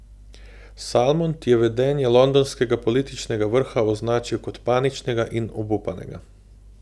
Salmond je vedenje londonskega političnega vrha označil kot paničnega in obupanega.